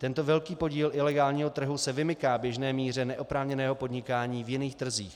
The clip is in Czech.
Tento velký podíl ilegálního trhu se vymyká běžné míře neoprávněného podnikání v jiných trzích.